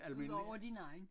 Udover din egen